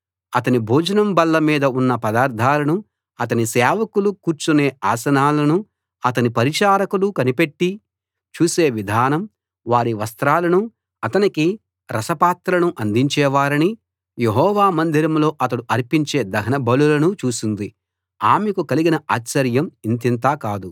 అతని భోజనం బల్ల మీద ఉన్న పదార్థాలను అతని సేవకులు కూర్చునే ఆసనాలను అతని పరిచారకులు కనిపెట్టి చూసే విధానం వారి వస్త్రాలను అతనికి రస పాత్రలను అందించేవారిని యెహోవా మందిరంలో అతడు అర్పించే దహనబలులను చూసింది ఆమెకు కలిగిన ఆశ్చర్యం ఇంతింత కాదు